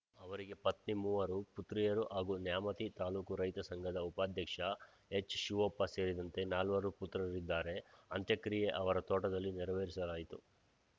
ಅವರಿಗೆ ಪತ್ನಿ ಮೂವರು ಪುತ್ರಿಯರು ಹಾಗೂ ನ್ಯಾಮತಿ ತಾಲೂಕು ರೈತ ಸಂಘದ ಉಪಾಧ್ಯಕ್ಷ ಎಚ್‌ಶಿವಪ್ಪ ಸೇರಿದಂತೆ ನಾಲ್ವರು ಪುತ್ರರಿದ್ದಾರೆ ಅಂತ್ಯಕ್ರಿಯೆ ಅವರ ತೋಟದಲ್ಲಿ ನೆರವೇರಿಸಲಾಯಿತು